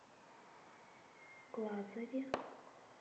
глазове